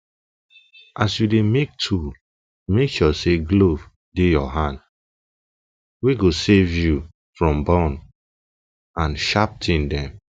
as you dey make tool make sure say glove dey your hande go save you from burn and sharp tin dem